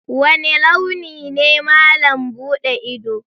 Wane launi ne malam buɗe ido?